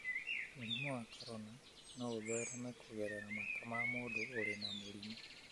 Mũrimũ wa corona no ũthereme kũgerera mata ma mũndũ ũrĩ na mũrimũ